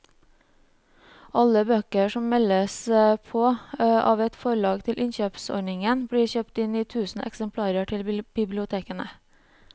Alle bøker som meldes på av et forlag til innkjøpsordningen blir kjøpt inn i tusen eksemplarer til bibliotekene.